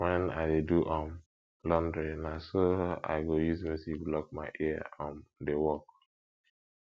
wen i dey do um laundry na so i go use music block my ear um dey work